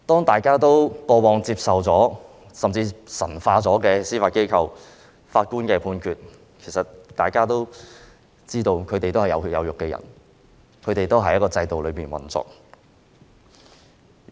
大家過往神化了司法機構和法官的判決，但其實大家都知道，法官是有血有肉的人，司法機構是按法律制度運作。